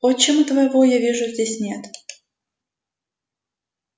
отчима твоего я вижу здесь нет